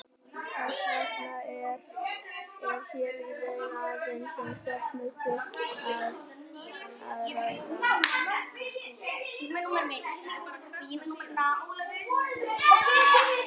Þess vegna er hér í raun aðeins um stefnuyfirlýsingu að ræða.